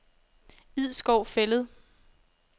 Idskov Fælled